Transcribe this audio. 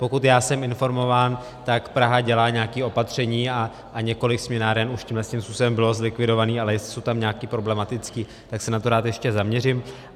Pokud já jsem informován, tak Praha dělá nějaká opatření a několik směnáren už tímto způsobem bylo zlikvidováno, ale jestli jsou tam nějaké problematické, tak se na to rád ještě zaměřím.